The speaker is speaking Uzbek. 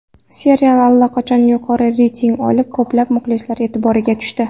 Serial allaqachon yuqori reyting olib, ko‘plab muxlislar e’tiboriga tushdi.